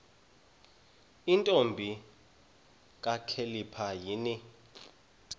ntombi kakhalipha yini